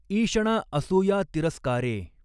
ईषणा असूया तिरस्कारें।